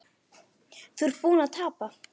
Þú ert búinn að tapa